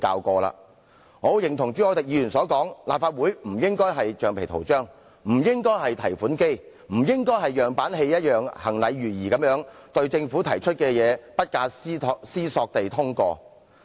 我十分認同朱凱廸議員的看法，立法會不應被視為橡皮圖章或提款機，也不應像演樣板戲一樣，行禮如儀或不假思索地通過政府提出的政策。